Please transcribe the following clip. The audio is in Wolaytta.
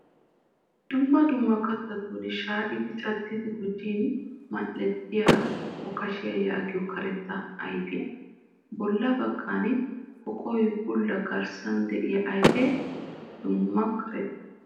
Dumma dumma kattatun shaayidi caddidi gujin mal'ettiyaa okashiyaa yaagiyoo karetta ayipiyaa. Bolla baggan poqoy bulla garssan de'iyaa ayife duma'a karetta